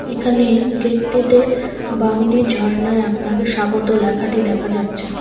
এখানে গেটটিতে বামনী ঝর্নায় আপনাকে স্বাগত লেখাটি দেখা যাচ্ছে।